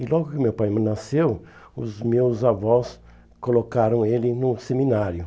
E logo que meu pai hum nasceu, os meus avós colocaram ele no seminário.